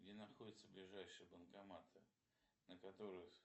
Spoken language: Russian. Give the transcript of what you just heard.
где находятся ближайшие банкоматы на которых